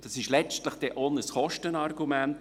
Das ist letztlich auch ein Kostenargument.